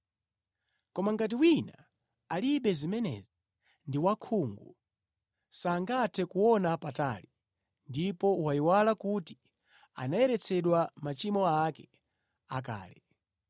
Koma ngati wina alibe zimenezi, ndi wakhungu sangathe kuona patali, ndipo wayiwala kuti anayeretsedwa machimo ake akale.